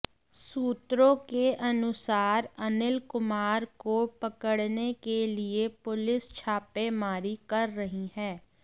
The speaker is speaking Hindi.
सूत्रों के अनुसार अनिल कुमार को पकड़ने के लिए पुलिस छापेमारी कर रही है